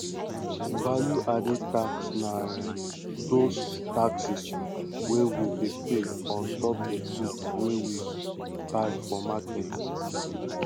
value added tax na um those taxes wey we dey pay ontop di goods wey we buy for market ]